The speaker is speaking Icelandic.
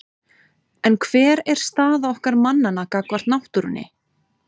En hver er staða okkar mannanna gagnvart náttúrunni?